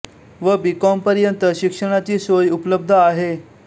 व B com पर्यंत शिक्षणाची सोय उपलब्ध आहे